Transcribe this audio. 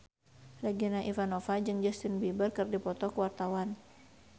Regina Ivanova jeung Justin Beiber keur dipoto ku wartawan